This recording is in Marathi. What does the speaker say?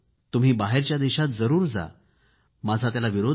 तुम्ही बाहेरच्या देशात जरूर जा माझा त्याला विरोध नाही